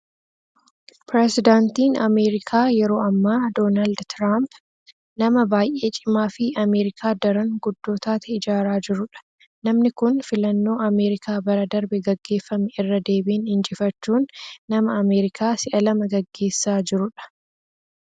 Pirisidaantiin Ameerikaa yeroo ammaa, Doonaald Tiraamph, nama baay'ee cimaafi Ameerikaa daraan guddoo taate ijaaraa jiruudha. Namni kun, filannoo Ameerikaa bara darbe gaggeeffame irra deebin injifachuun, nama Ameerikaa si'a lama gaggessaa jiruudha.